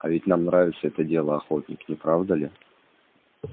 а ведь нам нравится это дело охотник не правда ли